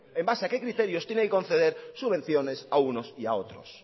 en base a qué criterios tiene que conceder subvenciones a unos y a otros